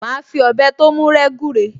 Màá fi ọ̀bẹ tó mú rẹ́ gúre